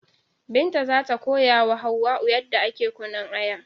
Binta zata koyawa Hauwa'u yadda ake kunnun Aya